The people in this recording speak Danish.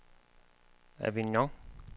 Avignon